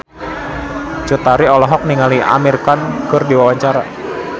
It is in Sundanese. Cut Tari olohok ningali Amir Khan keur diwawancara